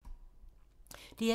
DR1